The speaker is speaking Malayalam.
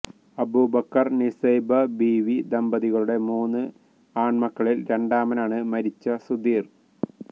അബുബക്കര് നിസൈബ ബീവി ദമ്പതികളുടെ മൂന്ന് ആണ് മക്കളില് രണ്ടാമനാണ് മരിച്ച സുധീര്